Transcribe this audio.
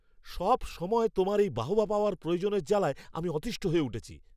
সবসময় তোমার এই বাহবা পাওয়ার প্রয়োজনের জ্বালায় আমি অতিষ্ঠ হয়ে উঠেছি।